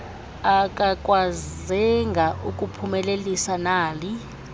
akakwazenga ukuphumelelisa nali